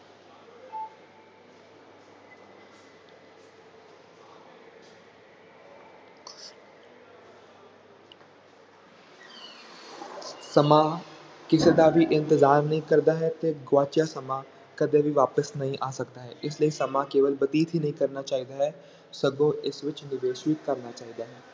ਸਮਾਂ ਕਿਸੇ ਦਾ ਵੀ ਇੰਤਜ਼ਾਰ ਨਹੀਂ ਕਰਦਾ ਹੈ ਤੇ ਗੁਆਚਿਆ ਸਮਾਂ ਕਦੇ ਵੀ ਵਾਪਿਸ ਨਹੀਂ ਆ ਸਕਦਾ ਹੈ ਇਸ ਲਈ ਸਮਾਂ ਕੇਵਲ ਬਤੀਤ ਹੀ ਨਹੀਂ ਕਰਨਾ ਚਾਹੀਦਾ ਹੈ, ਸਗੋਂ ਇਸ ਵਿੱਚ ਨਿਵੇਸ ਵੀ ਕਰਨਾ ਚਾਹੀਦਾ ਹੈ।